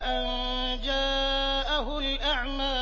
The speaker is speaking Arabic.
أَن جَاءَهُ الْأَعْمَىٰ